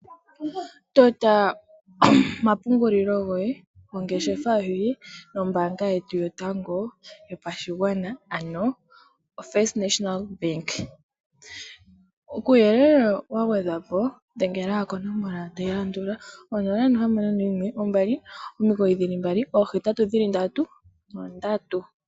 Tota omapungulilo goye nombaanga gongeshefa yoye nombaanga yetu yotango yopashigwana ano ofirst National Bank uuyelele wa gwedhwa po dhengele konomola tayi landula 0612998883.